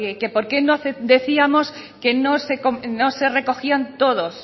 que porque no decíamos que no se recogían todos